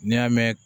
N'i y'a mɛn